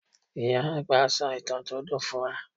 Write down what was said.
Ìyá àgbà sọ ìtàn tó dùn fún wa.